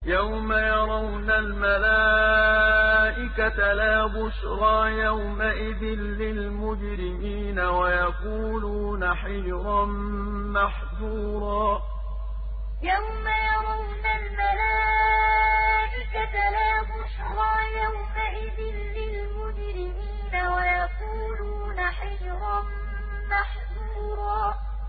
يَوْمَ يَرَوْنَ الْمَلَائِكَةَ لَا بُشْرَىٰ يَوْمَئِذٍ لِّلْمُجْرِمِينَ وَيَقُولُونَ حِجْرًا مَّحْجُورًا يَوْمَ يَرَوْنَ الْمَلَائِكَةَ لَا بُشْرَىٰ يَوْمَئِذٍ لِّلْمُجْرِمِينَ وَيَقُولُونَ حِجْرًا مَّحْجُورًا